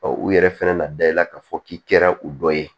u yɛrɛ fɛnɛ na da i la k'a fɔ k'i kɛra u dɔ ye